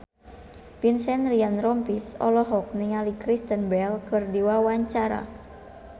Vincent Ryan Rompies olohok ningali Kristen Bell keur diwawancara